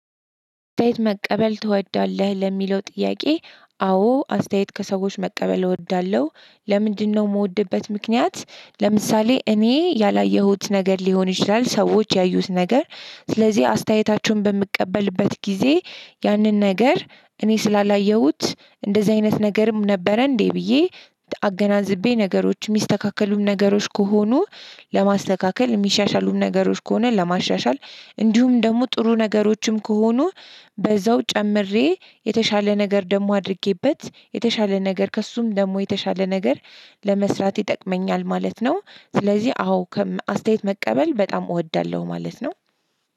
አስተያየት መቀበል ትወዳለህ ለሚለው ጥያቄ አዎ አስተያየት ከሰዎች መቀበል እወዳለሁ ለምንድነው የምወድበት ምክንያት ለምሳሌ እኔ ያላየሁት ነገር ሊሆን ይችላል ሰዎች ያዩት ነገር ስለዚህ አስተያየታችሁን በምቀበልበት ጊዜ ያንን ነገር እኔ ስላላየሁት እንደዚህ አይነት ነገርም ነበረ እንዴ ብዬ አገናዝቤ ነገሮች የሚስተካከሉም ነገሮች ከሆኑ ለማስተካከል የሚሻሻሉም ነገሮች ከሆነ ለማሻሻል እንዲሁም ደግሞ ጥሩ ነገሮችም ከሆኑ በዚያው ጨምሬ የተሻለ ነገር ደግሞ አድርጌበት የተሻለ ነገር ከእርሱም ደግሞ የተሻለ ነገር ለመስራት ይጠቅመኛል ማለት ነው። ስለዚህ አዎ አስተያየት መቀበል በጣም እወዳለሁ ማለት ነው።